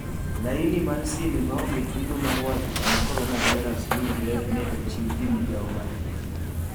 Laini mar sime maonge chudo mar wacho kama coronavirus yudre ne ochiw gi migawo ma thieth .